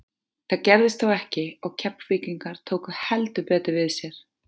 Það gerðist þó ekki og Keflvíkingar tóku heldur betur við sér.